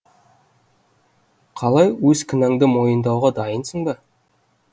қалай өз кінәңді мойындауға дайынсың ба